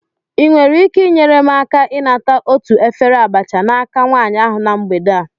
Ị nwere ike inyere m aka ịnata otu efere abacha n'aka nwanyị ahụ na mgbede a?